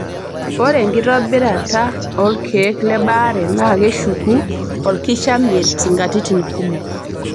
Ore enkitobirata olkeek le baare naa keshuku olkishamiet nkatitin kumok.